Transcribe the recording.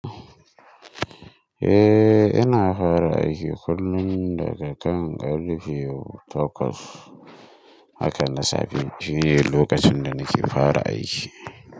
Eh, ina fara aiki kullum daga kan ƙarfe takwas. Haka na safe shine lokacin da nake fara aiki.